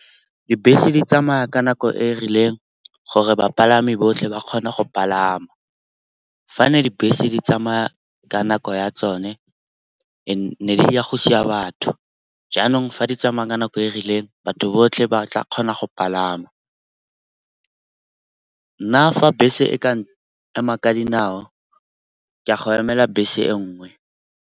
Dibese di tsamaya ka nako e e rileng gore bapalami botlhe ba kgona go palama. Fa ne dibese di tsamaya ka nako ya tsone ne di ya go siya batho. Jaanong fa di tsamaya ka nako e rileng batho botlhe ba tla kgona go palama. Nna nna fa bese e ka ema ka dinao ke a go emela bese e nngwe.